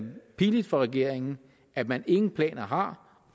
pinligt for regeringen at man ingen planer har